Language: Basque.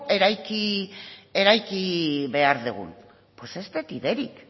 eraiki behar dugun pues ez dut ideiarik